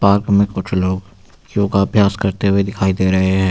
Park में कुछ लोग योगाभ्यास करते हुए दिखाई दे रहे हैं।